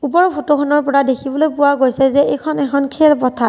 ওপৰৰ ফটোখনৰ পৰা দেখিবলৈ পোৱা গৈছে যে এইখন এখন খেল পথাৰ।